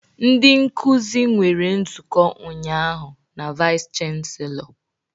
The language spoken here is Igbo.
Ndị nkuzi nwere nzukọ ụnyaahụ na Vice Chancellor